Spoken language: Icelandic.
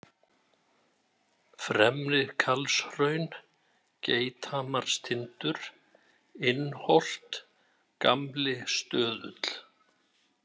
Fremri-Karlshraun, Geithamarstindur, Innholt, Gamli-Stöðull